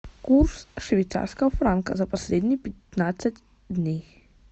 курс швейцарского франка за последние пятнадцать дней